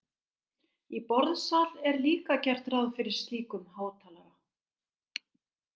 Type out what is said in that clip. Í borðsal er líka gert ráð fyrir slíkum hátalara.